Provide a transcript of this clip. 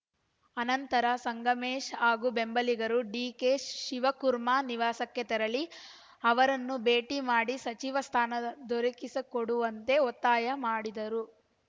ಅನಂತರ ಸಂಗಮೇಶ್‌ ಹಾಗೂ ಬೆಂಬಲಿಗರು ಡಿಕೆಶಿವಕುರ್ಮ ನಿವಾಸಕ್ಕೆ ತೆರಳಿ ಅವರನ್ನು ಭೇಟಿ ಮಾಡಿ ಸಚಿವ ಸ್ಥಾನ ದೊರಕಿಸಿಕೊಡುವಂತೆ ಒತ್ತಾಯ ಮಾಡಿದರು